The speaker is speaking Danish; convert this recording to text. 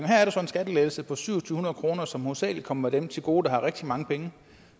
her er der så en skattelettelse på to tusind syv hundrede kr som hovedsagelig kommer dem til gode der har rigtig mange penge